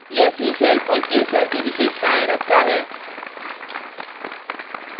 * यह c shells और k shells की विशेषतायें रखता है